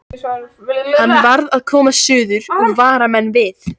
Hann varð að komast suður og vara menn við.